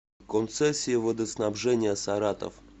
концессии водоснабжения саратов